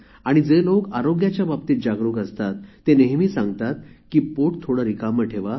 जे लोक आरोग्याच्या बाबतीत जागरुक असतात ते नेहमी सांगतात की पोट थोडे रिकामे ठेवा